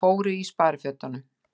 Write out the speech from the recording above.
Þeir fóru í sparifötunum.